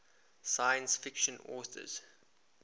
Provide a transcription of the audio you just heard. science fiction authors